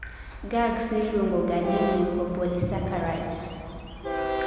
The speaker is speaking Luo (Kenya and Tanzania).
GAGs niluongoga ni mucopolysaccharides